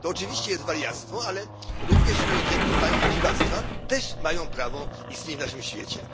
To oczywiście jest wariactwo, ale również ludzie, którzy mają dziwactwa, też mają prawo istnieć w naszym świecie.